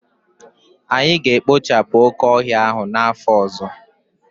Anyị ga-ekpochapụ oke ọhịa ahụ n'afọ ọzọ